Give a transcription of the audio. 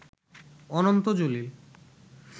Ananta Jalil